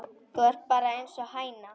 Þú ert bara einsog hæna.